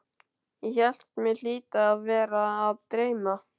Ég hélt mig hlyti að vera að dreyma.